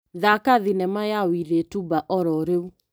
Thaka thinema ya Wilĩ Tuba ya ororĩu .